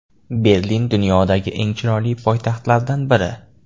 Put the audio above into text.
Berlin – dunyodagi eng chiroyli poytaxtlardan biri.